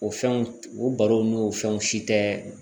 O fɛnw o barow n'o fɛnw si tɛ